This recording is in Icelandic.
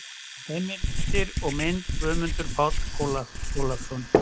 Heimildir og mynd: Guðmundur Páll Ólafsson.